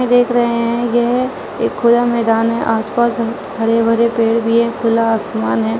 देख रहे है यह एक खुला मैदान है। आसपास हरे भरे पेड़ भी है खुला असमान है।